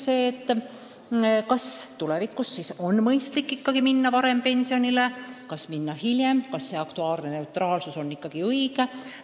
Veel tuleb mõelda, kas on mõistlik minna pensionile varem või hiljem, kas see aktuaarne neutraalsus on ikkagi õige.